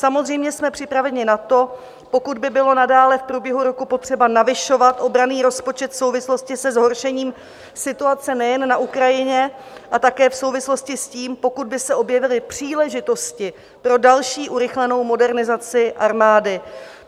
Samozřejmě jsme připraveni na to, pokud by bylo nadále v průběhu roku potřeba navyšovat obranný rozpočet v souvislosti se zhoršením situace nejen na Ukrajině, a také v souvislosti s tím, pokud by se objevily příležitosti pro další urychlenou modernizaci armády.